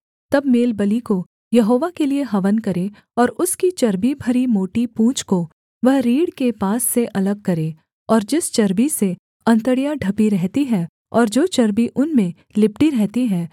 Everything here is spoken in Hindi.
तब मेलबलि को यहोवा के लिये हवन करे और उसकी चर्बी भरी मोटी पूँछ को वह रीढ़ के पास से अलग करे और जिस चर्बी से अंतड़ियाँ ढपी रहती हैं और जो चर्बी उनमें लिपटी रहती है